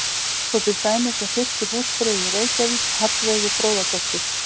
Svo er til dæmis um fyrstu húsfreyju í Reykjavík, Hallveigu Fróðadóttur.